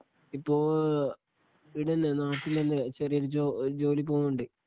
ഇപ്പൊ ഈടന്നേ നാട്ടില്ത്തന്നെ ചെറിയ ജോ ജോലിക്കു പോകുന്നുണ്ട്